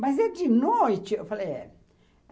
Mas é de noite, eu falei, é.